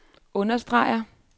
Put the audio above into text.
understreger